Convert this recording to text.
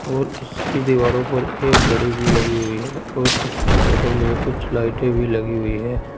और इसकी दीवारों पर एक घड़ी भी लगी हुई है और इसकी छतों में कुछ लाइटें भी लगी हुई है।